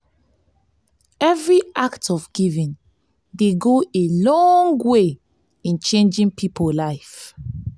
evri act of giving dey go a long way in changin pipo life